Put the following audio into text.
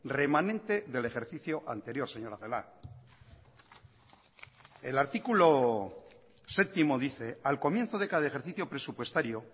remanente del ejercicio anterior señora celaá el artículo séptimo dice al comienzo de cada ejercicio presupuestario